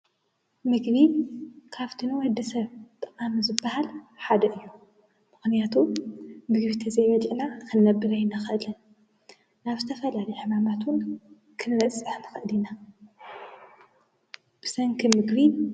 ምግቢ ካብቲ ንወድሰብ ጠቃሚ ዝብሃል ሓደ እዩ። ምኽንያቱ ምግቢ ተዘይበሊእና ክንነብር ኣይንኽእልን። ናብ ዝተፈላለዩ ሕማማትን እውን ክንበፅሕ ንኽእል ኢና። ብሰንኪ ምግቢ...